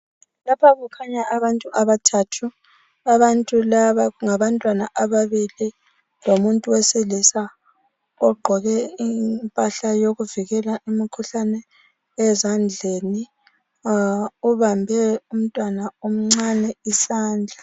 lapha kukhanya abantu abathathu abantu laba ngabantwana ababili lomuntu wesilisa ogqoke impahla yokuvikela umkhuhlane ezandleni ubambe umntwana omncane isandla